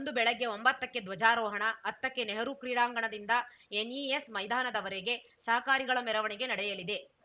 ಅಂದು ಬೆಳಗ್ಗೆ ಒಂಬತ್ತಕ್ಕೆ ಧ್ವಜಾರೋಹಣ ಹತ್ತಕ್ಕೆ ನೆಹರೂ ಕ್ರೀಡಾಂಗಣದಿಂದ ಎನ್‌ಇಎಸ್‌ ಮೈದಾನದವರೆಗೆ ಸಹಕಾರಿಗಳ ಮೆರವಣಿಗೆ ನಡೆಯಲಿದೆ